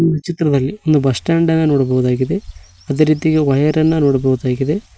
ಈ ಚಿತ್ರದಲ್ಲಿ ಒಂದು ಬಸಸ್ಟಾಂಡ್ ನ್ನ ನೋಡಬಹುದಾಗಿದೆ ಅದೇ ರೀತಿ ವಯರ್ ನ್ನ ನೋಡಬಹುದಾಗಿದೆ.